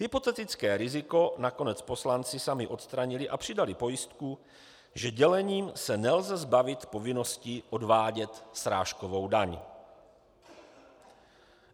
Hypotetické riziko nakonec poslanci sami odstranili a přidali pojistku, že dělením se nelze zbavit povinnosti odvádět srážkovou daň.